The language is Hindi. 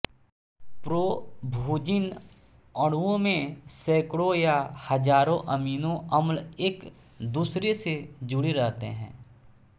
प्रोभूजिन अणुओं में सैंकड़ों या हजारों अमीनो अम्ल एक दूसरे से जुड़े रहते हैं